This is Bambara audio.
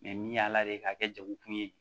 min y'a la de k'a kɛ jago kun ye